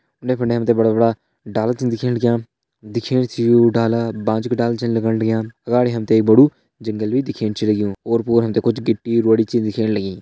उंडे फुंडे हम ते बड़ा बड़ा डाला छन दिखेण लग्यां दिखेण से यु डाला बांज कु डाला छन लगण लग्यां अगाड़ी हम ते एक बड़ु जंगल भी दिखेण छे लग्युं ओर पोर हम ते कुछ गिट्टी रूड़ी छे दिखेण लगीं।